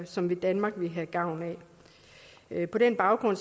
som danmark vil have gavn af på den baggrund